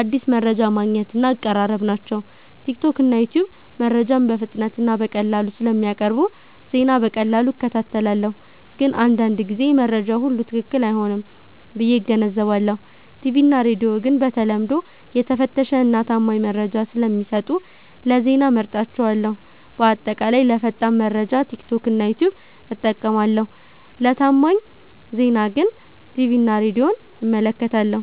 አዲስ መረጃ ማግኘት እና አቀራረብ ናቸው። ቲክቶክ እና ዩትዩብ መረጃን በፍጥነት እና በቀላሉ ስለሚያቀርቡ ዜና በቀላሉ እከታተላለሁ። ግን አንዳንድ ጊዜ መረጃው ሁሉ ትክክል አይሆንም ብዬ እገነዘባለሁ። ቲቪ እና ሬዲዮ ግን በተለምዶ የተፈተሸ እና ታማኝ መረጃ ስለሚሰጡ ለዜና እመርጣቸዋለሁ። በአጠቃላይ ለፈጣን መረጃ ቲክቶክ እና ዩትዩብ እጠቀማለሁ ለታማኝ ዜና ግን ቲቪ እና ሬዲዮን እመለከታለሁ።